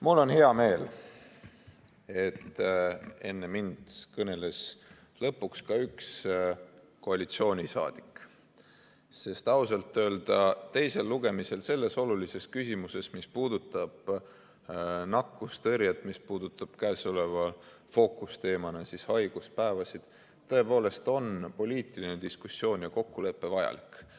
Mul on hea meel, et enne mind kõneles lõpuks ka üks koalitsioonisaadik, sest ausalt öelda teisel lugemisel selles olulises küsimuses, mis puudutab nakkustõrjet, mis puudutab käesoleva fookusteemana haiguspäevasid, on tõepoolest poliitiline diskussioon ja kokkulepe vajalik.